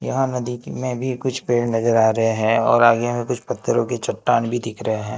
यहां नदी की में भी कुछ पेड़ नजर आ रहे हैं और आगे में कुछ पत्थरों की चट्टान भी दिख रहे हैं।